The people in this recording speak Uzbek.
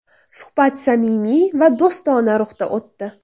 Suhbat samimiy va do‘stona ruhda o‘tdi.